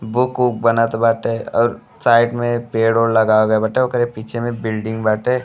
Book वूक बनत बाटे और साइड में पेड़ ओढ़ लगा गई बाटे ओकरे पीछे में बिल्डिंग बाटे।